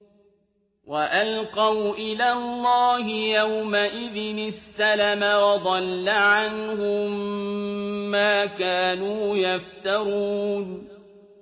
وَأَلْقَوْا إِلَى اللَّهِ يَوْمَئِذٍ السَّلَمَ ۖ وَضَلَّ عَنْهُم مَّا كَانُوا يَفْتَرُونَ